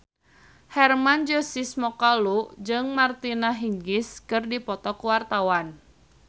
Hermann Josis Mokalu jeung Martina Hingis keur dipoto ku wartawan